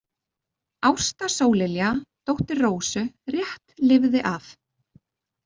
Ásta Sóllilja, dóttir Rósu, rétt lifði af.